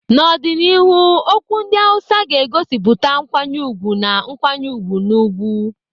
N'ọdịnihu, okwu ndị Hausa ga-egosipụta nkwanye ùgwù na nkwanye ùgwù na ugwu.